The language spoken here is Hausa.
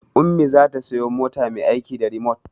Ummi za ta siya mota mai aiki da rimot